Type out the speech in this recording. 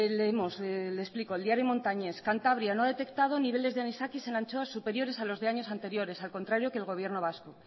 leemos y le explico el diario montañés cantabria no detectado niveles de anisakis en anchoas superiores a los años anteriores al contrario que el gobierno vasco